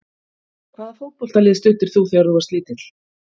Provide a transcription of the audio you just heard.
Hvaða fótboltalið studdir þú þegar þú varst lítill?